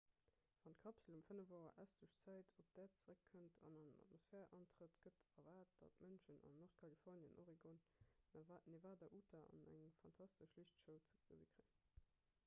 wann d'kapsel um 5 auer ëstlech zäit op d'äerd zéreckkënnt an an d'atmosphär antrëtt gëtt erwaart datt d'mënschen an nordkalifornien oregon nevada a utah eng fantastesch liichtshow ze gesi kréien